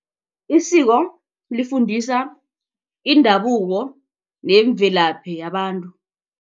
Isiko lifundisa indabuko nemvelaphi yabantu.